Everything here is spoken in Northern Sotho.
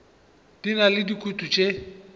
di na le dikutu tše